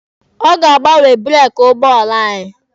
Ọ ga-agbanwe breeki ụgbọala anyị.